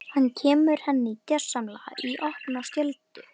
Hann kemur henni gersamlega í opna skjöldu.